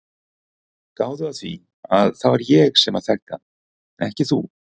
Gáðu að því að það var ég sem þekkti hann en ekki þú.